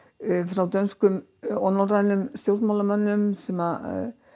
frá dönskum og norrænum stjórnmálamönnum sem